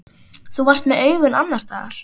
Þú varst með augun annars staðar.